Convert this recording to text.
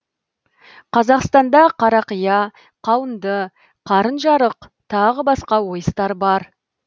қазақстанда қарақия қауынды қарынжарық тағы басқа ойыстар бар